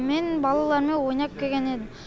мен балалармен ойнап келген едім